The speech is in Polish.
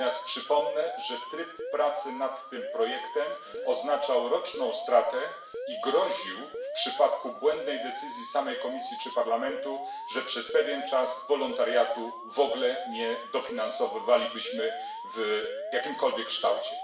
Przypomnę natomiast, że tryb pracy nad tym projektem oznaczał roczną stratę i groził, w przypadku błędnej decyzji samej Komisji czy Parlamentu, że przez pewien czas w ogóle nie dofinansowywalibyśmy wolontariatu w jakimkolwiek kształcie.